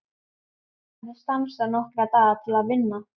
Ég hafði stansað nokkra daga til að vinna.